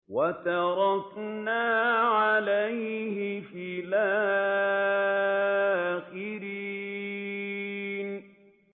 وَتَرَكْنَا عَلَيْهِ فِي الْآخِرِينَ